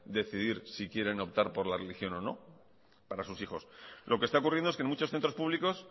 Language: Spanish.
decidir si quieren optar por la religión o no para sus hijos lo que está ocurriendo es que en muchos centros públicos